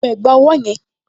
Wọ ẹ̀gbá ọwọ́ yẹn!